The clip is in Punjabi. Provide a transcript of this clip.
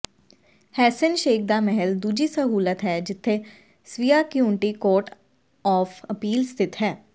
ਹੈਸੇਨਸ਼ੇਕ ਦਾ ਮਹਿਲ ਦੂਜੀ ਸਹੂਲਤ ਹੈ ਜਿੱਥੇ Svea county court of appeal ਸਥਿਤ ਹੈ